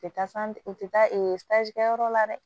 U tɛ taa u tɛ taa ee kɛ yɔrɔ la dɛ